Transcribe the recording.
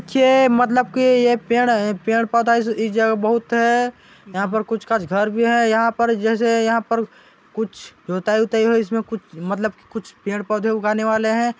ये मतलब कि एक पेड़ पेड़ पौधा इस जगह बहुत है यहाँ पर कुछ काछ घर भी है यहाँ पर जैसे यहाँ पर कुछ जुताई उताई मतलब की कुछ और पेड़ पौधे उगाने वाले हैं।